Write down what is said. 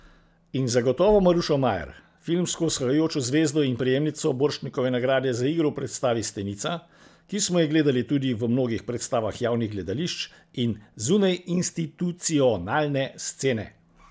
In zagotovo Marušo Majer, filmsko vzhajajočo zvezdo in prejemnico Borštnikove nagrade za igro v predstavi Stenica, ki smo jo gledali tudi v mnogih predstavah javnih gledališč in zunajinstitucionalne scene.